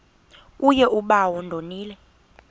kuye bawo ndonile